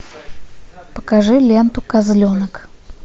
покажи ленту козленок